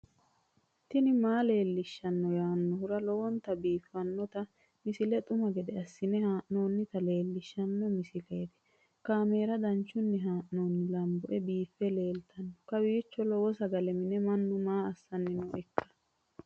tini maa leelishshanno yaannohura lowonta biiffanota misile xuma gede assine haa'noonnita leellishshanno misileeti kaameru danchunni haa'noonni lamboe biiffe leeeltanno kawiicho lowo sagale mine mannu maa assanni nooikka